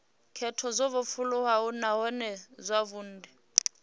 khetho dzo vhofholowaho nahone dzavhudi